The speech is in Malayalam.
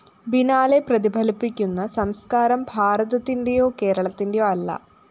ബിനാലെ പ്രതിഫലിപ്പിക്കുന്ന സംസ്‌കാരം ഭാരതത്തിന്റെയോ കേരളത്തിന്റെയോ അല്ല